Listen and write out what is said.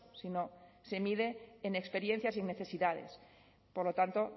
si no se mide en experiencias y necesidades por lo tanto